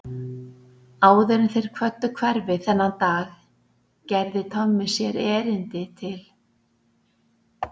Áður en þeir kvöddu hverfið þennan dag gerði Tommi sér erindi til